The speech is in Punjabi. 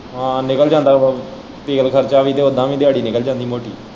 ਹਾਂ ਨਿਕਲ਼ ਜਾਂਦਾ ਵਾ ਤੇਲ ਖਰਚਾ ਵੀ ਤੇ ਉੱਦਾ ਵੀ ਦਿਹਾੜੀ ਨਿਕਲ਼ ਜਾਂਦੀ ਮੋਟੀ।